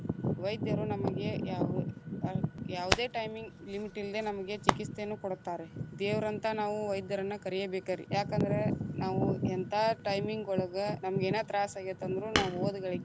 ವೈದ್ಯರು ನಮಗೆ ಯಾವ್~ ಯಾವುದೇ timing limit ಇಲ್ಲ್ದೆ ನಮಗೆ ಚಿಕಿತ್ಸೆಯನ್ನು ಕೊಡುತ್ತಾರೆ, ದೇವರಂತ ನಾವು ವೈದ್ಯರನ್ನ ಕರಿಯಬೇಕರೀ, ಯಾಕಂದ್ರ ನಾವು ಎಂತಾ timing ಒಳಗ ನಮಗ್ ಏನ್ ತ್ರಾಸ್ ಆಗೇತ ಅಂದ್ರು ನಾವ್‌ ಹೋದಗಳಿಗ್ಗೆ.